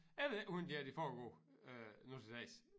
Jeg ved ikke hvordan det her det foregår øh nu til dags